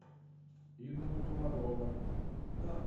инна комарова